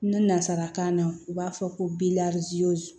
Nansarakan na u b'a fɔ ko